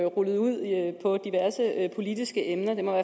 rullet ud på diverse politiske emner det må